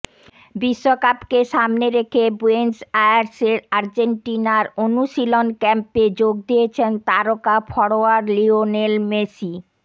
বিশ্বকাপকে সামনে রেখে বুয়েন্স আয়ার্সের আর্জেন্টিনার অনুশীলন ক্যাম্পে যোগ দিয়েছেন তারকা ফরোয়ার্ড লিওনেল মেসি